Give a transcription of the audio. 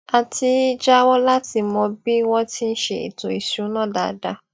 a ti í jáwó láti mọ bí wọn ti ń ṣe ètò ìṣúná dáadáa